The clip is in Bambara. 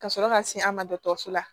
Ka sɔrɔ ka se an ma dɔgɔtɔrɔso la